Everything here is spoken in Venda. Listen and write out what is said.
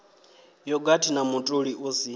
yogathi na mutoli u si